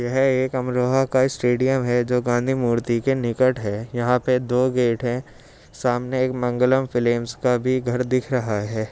यह एक अमरोहा का स्टेडियम है जो गाँधी मूर्ति के निकट है। यहाँ पे दो गेट है। सामने एक मंगलम फ़िल्म्स का भी घर दिख रहा है।